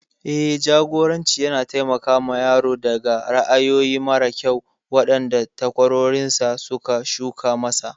Eh, Jagoranci yana taimakawa yaro daga ra'ayoyi mara kyau waɗanda takwarorinsa suka shuka masa.